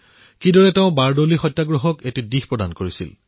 কিদৰে তেওঁ বাৰডোলী সত্যাগ্ৰহক আগুৱাই নিছিল